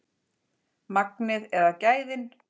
Magnið eða gæðin?